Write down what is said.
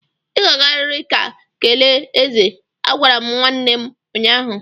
Ị ga-agariri ga kelee eze! Agwara m nwanne m ụnyahụ.